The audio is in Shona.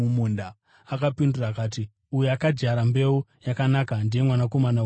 Akapindura akati, “Uyo akadyara mbeu yakanaka ndiye Mwanakomana woMunhu.